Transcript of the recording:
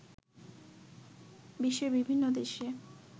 বিশ্বের বিভিন্ন দেশে